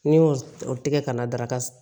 Ni n y'o o tigɛ ka na daraka